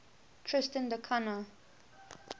tristan da cunha